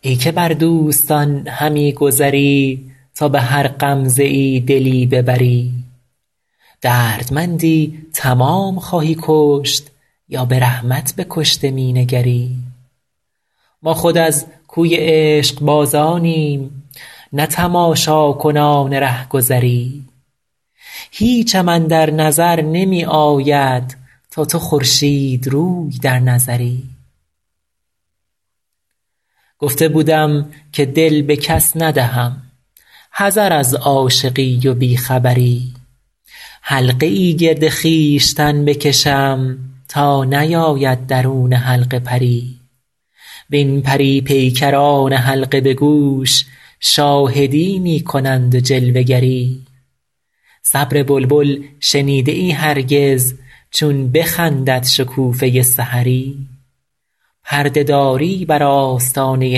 ای که بر دوستان همی گذری تا به هر غمزه ای دلی ببری دردمندی تمام خواهی کشت یا به رحمت به کشته می نگری ما خود از کوی عشقبازانیم نه تماشاکنان رهگذری هیچم اندر نظر نمی آید تا تو خورشیدروی در نظری گفته بودم که دل به کس ندهم حذر از عاشقی و بی خبری حلقه ای گرد خویشتن بکشم تا نیاید درون حلقه پری وین پری پیکران حلقه به گوش شاهدی می کنند و جلوه گری صبر بلبل شنیده ای هرگز چون بخندد شکوفه سحری پرده داری بر آستانه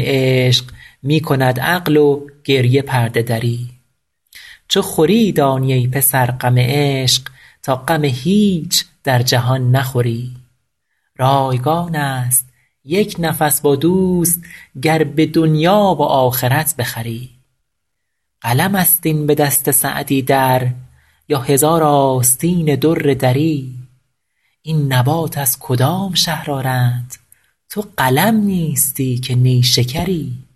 عشق می کند عقل و گریه پرده دری چو خوری دانی ای پسر غم عشق تا غم هیچ در جهان نخوری رایگان است یک نفس با دوست گر به دنیا و آخرت بخری قلم است این به دست سعدی در یا هزار آستین در دری این نبات از کدام شهر آرند تو قلم نیستی که نیشکری